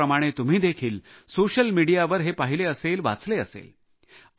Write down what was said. माझ्याप्रमाणे तुम्ही देखील सोशल मिडीयावर हे पाहिले असेल वाचले असेल